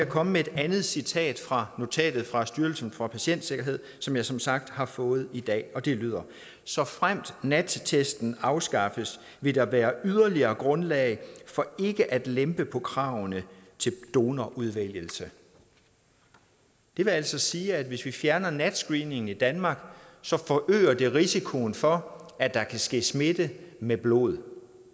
komme med et andet citat fra notatet fra styrelsen for patientsikkerhed som jeg som sagt har fået i dag og det lyder såfremt nat testen afskaffes vil der være yderligere grundlag for ikke at lempe på kravene til donorudvælgelse det vil altså sige at hvis vi fjerner nat screeningen i danmark forøger det risikoen for at der kan ske smitte med blod